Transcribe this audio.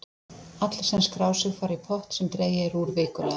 Allir sem skrá sig fara í pott sem dregið er úr vikulega.